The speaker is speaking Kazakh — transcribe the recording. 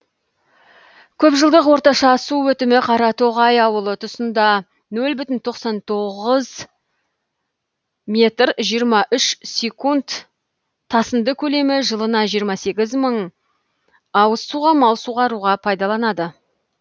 көп жылдық орташа су өтімі қаратоғай ауылы тұсында нөл бүтін тоқсан тоғыз метр жиырма үш секунд тасынды көлемі жылына жиырма сегіз мың ауыз суға мал суғаруға пайдаланады